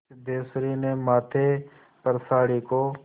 सिद्धेश्वरी ने माथे पर साड़ी को